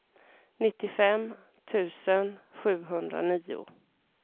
nittiofem tusen sjuhundranio